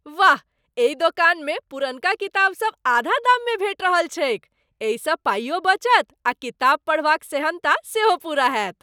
वाह! एहि दोकानमे पुरनका किताब सब आधा दाममे भेटि रहल छैक। एहिसँ पाइयो बचत आ किताब पढ़बाक सेहन्ता सेहो पूरा होयत।